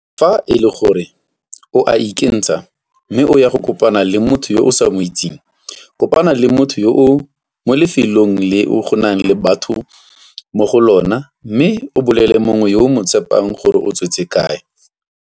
Fa e le gore o a ikentsha mme o ya go kopana le motho yo o sa mo itseng, kopana le motho yoo mo lefelong leo go nang le batho mo go lona mme o bolelele mongwe yo o mo tshepang gore o tswetse kae.